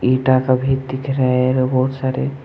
इटा सभी दिख रहे है रे बहुत सारे।